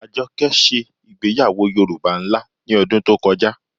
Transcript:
Àjọkẹ́ ṣẹ̀ igbèyàwọ́ Yorùbá nlá ní odún tó kọjá.